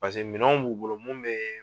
Paseke minɛnw b'u bolo mun bɛ